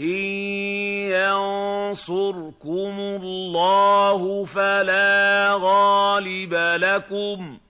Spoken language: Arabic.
إِن يَنصُرْكُمُ اللَّهُ فَلَا غَالِبَ لَكُمْ ۖ